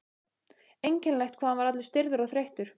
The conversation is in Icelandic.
Einkennilegt hvað hann var allur stirður og þreyttur.